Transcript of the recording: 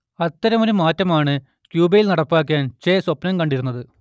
അത്തരമൊരു മാറ്റം ആണ് ക്യൂബയിൽ നടപ്പാക്കാൻ ചെ സ്വപ്നം കണ്ടിരുന്നത്